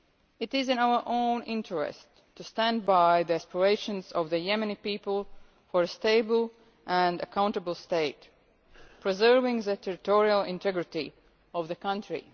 It is in our own interest to stand by the aspirations of the Yemeni people for a stable and accountable state, preserving the territorial integrity of the country.